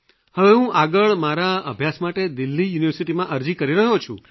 હવે હું આગળ મારા અભ્યાસ માટે દિલ્હી યુનિવર્સિટીમાં અરજી કરી રહ્યો છું